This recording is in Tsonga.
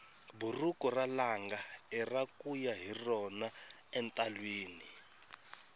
buruku ra langa ira kuya hi rona entalwini